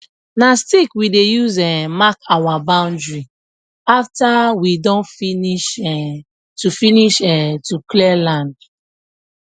na stick we dey use um mark our boundary after nwe don finish um to finish um to clear land